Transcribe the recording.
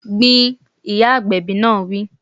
Gbin! Ìyá agbẹ̀bi náà wí